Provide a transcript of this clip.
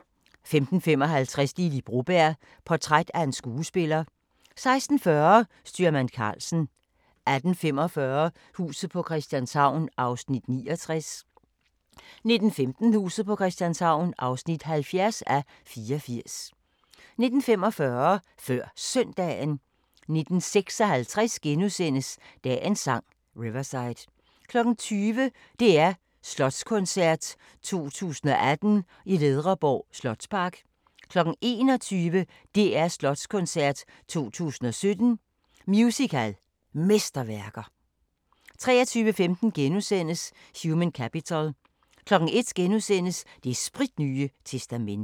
15:55: Lily Broberg – portræt af en skuespiller 16:40: Styrmand Karlsen 18:45: Huset på Christianshavn (69:84) 19:15: Huset på Christianshavn (70:84) 19:45: Før Søndagen 19:56: Dagens Sang: Riverside * 20:00: DR Slotskoncert 2018 i Ledreborg Slotspark 21:00: DR Slotskoncert 2017 – Musical Mesterværker 23:15: Human Capital * 01:00: Det spritnye testamente *